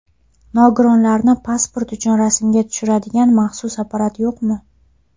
Nogironlarni pasport uchun rasmga tushiradigan maxsus apparat yo‘qmi?